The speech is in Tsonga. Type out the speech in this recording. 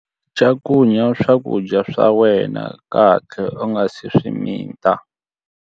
Cakunya swakudya swa wena kahle u nga si swi mita.